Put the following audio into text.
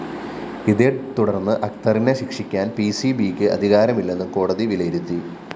ഇതേത്തുടര്‍ന്ന് അക്തറിനെ ശിക്ഷിക്കാന്‍ പിസിബിക്ക് അധികാരമില്ലെന്ന് കോടതി വിലയിരുത്തി